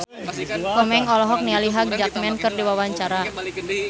Komeng olohok ningali Hugh Jackman keur diwawancara